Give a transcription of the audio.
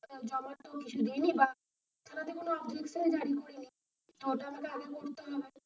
থানা তে কোনো objection dairy করি নি, তো ওটা তো আগে তো করতে হবে, জমা তো কিছু দি নি বা,